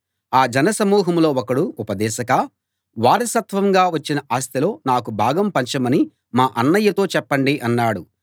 ఆ జనసమూహంలో ఒకడు ఉపదేశకా వారసత్వంగా వచ్చిన ఆస్తిలో నాకు భాగం పంచమని మా అన్నయ్యతో చెప్పండి అన్నాడు